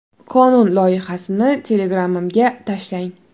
Qonun loyihasini Telegram’imga tashlang.